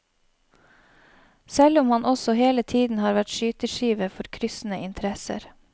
Selv om han også hele tiden har vært skyteskive for kryssende interesser.